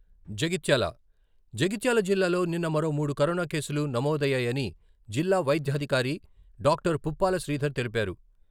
జగిత్యాల, జగిత్యాల జిల్లాలో నిన్న మరో మూడు కరోనా కేసులు నమోదయ్యాయని జిల్లా వైద్యాధికారి డాక్టర్ పుప్పాల శ్రీధర్ తెలిపారు.